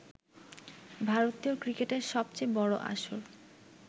ভারতীয় ক্রিকেটের সবচেয়ে বড় আসর